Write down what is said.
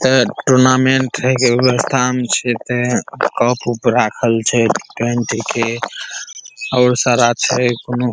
ते टूर्नामेंट हेय के व्यवस्था मे छै ते कप उप राखल छै टेंट के और सारा छै कोनो--